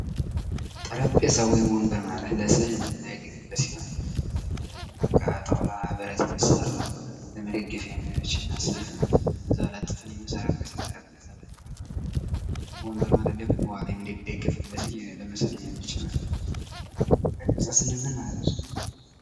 ጠረጴዛ ወይም ወንበር ማለት ስለዚህ የምንገለገልበት ሲሆን ለተለያዩ በቃ ከጣውላ ከብረት የሚሰራት ለመደገፊያ የሚያመችና እዛው የምንሰራበት ለጥፈን የምንሰራበት ማለት ነው። ጠረጴዛ ስንል ምን ማለታችን ነው?